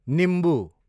निम्बु